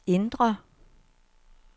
indre